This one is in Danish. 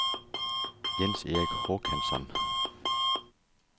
Jens-Erik Håkansson